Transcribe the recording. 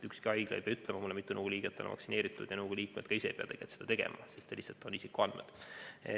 Ükski haigla ei pea mulle ütlema, mitu nõukogu liiget on vaktsineeritud, ja ka nõukogu liikmed ise ei pea seda tegema, sest need on isikuandmed.